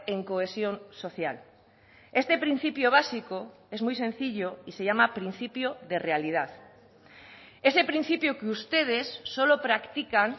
en cohesión social este principio básico es muy sencillo y se llama principio de realidad ese principio que ustedes solo practican